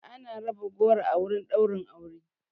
Ana raba goro a wurin ɗaura aure